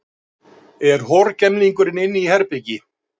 Er horgemlingurinn inni í herbergi?